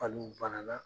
Hali u banana